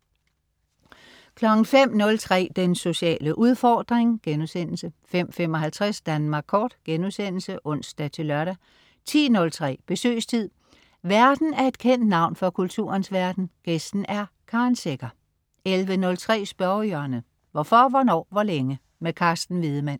05.03 Den sociale udfordring* 05.55 Danmark Kort* (ons-lør) 10.03 Besøgstid. Værten er et kendt navn fra kulturens verden, gæsten er Karen Secher 11.03 Spørgehjørnet. Hvorfor, hvornår, hvor længe? Carsten Wiedemann